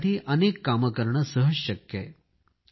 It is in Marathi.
यासाठी अनेक कामे करणे सहज शक्य आहे